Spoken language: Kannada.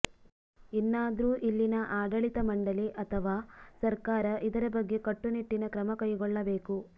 ಇನ್ನಾದ್ರೂ ಇಲ್ಲಿನ ಆಡಳಿತ ಮಂಡಳಿ ಅಥವಾ ಸರ್ಕಾರ ಇದರ ಬಗ್ಗೆ ಕಟ್ಟು ನಿಟ್ಟಿನ ಕ್ರಮ ಕೈಗೊಳ್ಳಬೇಕು